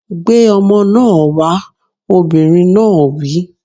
Gbé ọmọ náà wá! Obìnrin náà wí